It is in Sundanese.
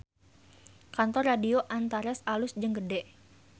Kantor Radio Antares alus jeung gede